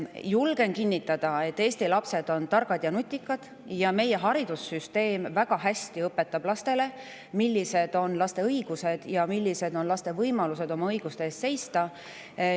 Julgen kinnitada, et Eesti lapsed on targad ja nutikad ning meie haridussüsteem õpetab lastele väga hästi seda, millised on nende õigused ja võimalused oma õiguste eest seista.